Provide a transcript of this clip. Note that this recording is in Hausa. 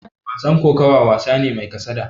Wasan kokawa, wasa ne mai kasada.